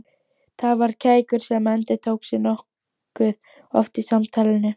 Það var kækur sem endurtók sig nokkuð oft í samtalinu.